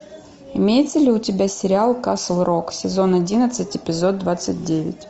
имеется ли у тебя сериал касл рок сезон одиннадцать эпизод двадцать девять